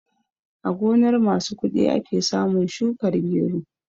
A gonar masu kuɗi ake samun shukar gero